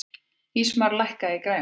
Ísmar, lækkaðu í græjunum.